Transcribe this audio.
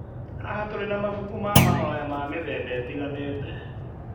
Haha tũrĩ na mabuku ma mahoya ma mĩthemba ĩtiganĩte.